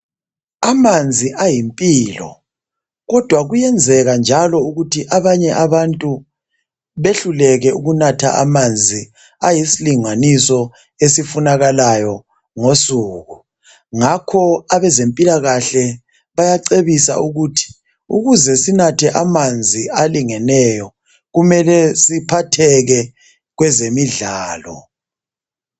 Amanzi ayimpilo, kodwa kuyenzeka njalo ukuthi abanye abantu behluleke ukunatha amanzi ayisilinganiso esufunakalayo ngosuku. Ngakho abezempilakahle bayacebisa ukuthi, ukuze sinathe amanzi alingeneyo kumele siphatheke kwezemidlalo.